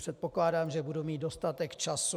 Předpokládám, že budu mít dostatek času.